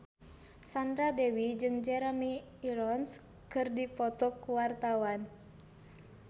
Sandra Dewi jeung Jeremy Irons keur dipoto ku wartawan